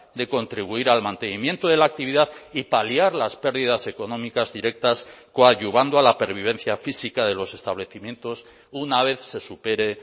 de contribuir al mantenimiento de la actividad y paliar las pérdidas económicas directas coadyuvando a la pervivencia física de los establecimientos una vez se supere